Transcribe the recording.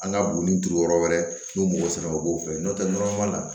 An ka buguni turu yɔrɔ wɛrɛ n'u b'o sɛnɛ u b'o fɛ n'o tɛ la